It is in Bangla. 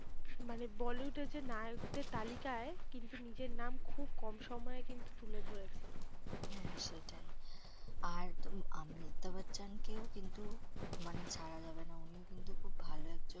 মানে bollywood এর যে নায়কদের তালিকায় কিন্তু নিজের নাম খুব কম সময়ে কিন্তু তুলে ধরেছে। হ্যাঁ সেটাই, আর অমিতাভ বচ্চন কেউ কিন্তু মানে ছাড়া যাবে না। উনিও কিন্তু খুব ভালো একজন